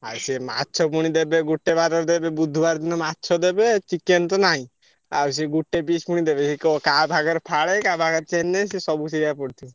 ଆଉ ସିଏ ମାଛ ପୁଣି ଦେବେ ଗୋଟେ ବାରରେ ଦେବେ ବୁଧୁବାର ଦିନ ମାଛ ଦେବେ chicken ତ ନାଇଁ। ଆଉ ସେ ଗୋଟେ fish ପୁଣି ଦେବେ। ଏଇ କ କାହା ଭାଗରେ ଫାଳେ କାହା ଭାଗରେ ଚେନେ ସିଏ ସବୁ ସେୟା ପଡୁଛି।